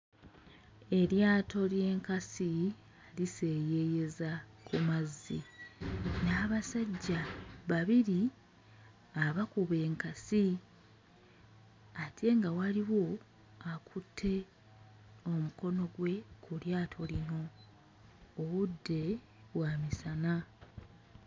Eryato ly'enkasi liseeyeeyeza ku mazzi, n'abasajja babiri abakuba enkasi ate nga waliwo akutte omukono gwe ku lyato lino. Obudde bwa misana.